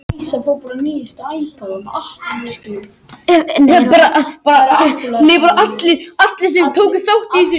Vilja endurskipuleggja rekstur skóla